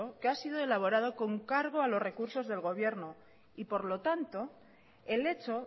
que ha sido elaborado con cargo a los recursos de gobierno y por lo tanto el hecho